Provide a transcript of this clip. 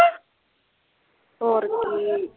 ਹੋਰ ਕੀ